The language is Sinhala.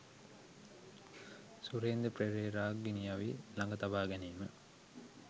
සුරේන්ද්‍ර පෙරේරා ගිනිඅවි ළඟ තබාගැනීම